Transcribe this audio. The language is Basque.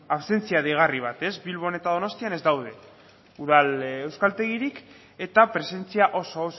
ausentzia deigarri bat bilbon eta donostian ez daude udal euskaltegirik eta presentzia oso